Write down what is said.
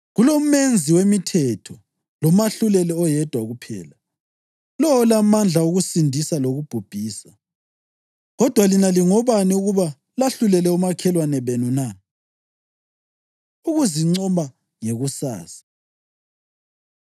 KuloMenzi wemithetho loMahluleli oyedwa kuphela, lowo olamandla okusindisa lokubhubhisa. Kodwa lina lingobani ukuba lahlulele omakhelwane benu na? Ukuzincoma Ngekusasa